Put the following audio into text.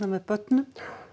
með börnum